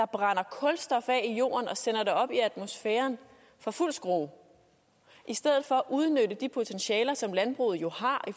brænder kulstof af i jorden og sender det op i atmosfæren for fuld skrue i stedet for at udnytte de potentialer som landbruget jo har